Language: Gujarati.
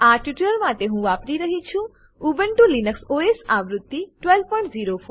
આ ટ્યુટોરીયલ માટે હું વાપરી રહ્યી છું ઉબુન્ટુ લિનક્સ ઓએસ આવૃત્તિ 1204